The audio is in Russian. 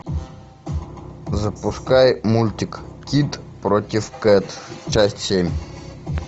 запускай мультик кид против кэт часть семь